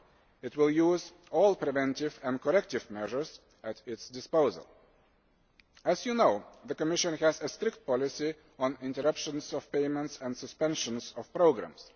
It will use all preventive and corrective measures at its disposal. As you know, the Commission has a strict policy on interruptions of payments and suspensions of programmes